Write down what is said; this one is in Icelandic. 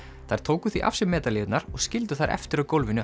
þær tóku því af sér og skildu þær eftir á gólfinu